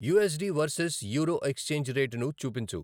USD versus euro exchange రేటును చూపించు